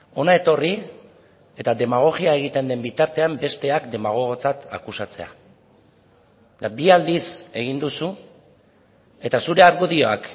hona etorri eta demagogia egiten den bitartean besteak demagogotzat akusatzea bi aldiz egin duzu eta zure argudioak